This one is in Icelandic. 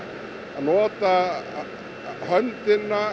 nota höndina